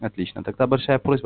отлично тогда большая просьба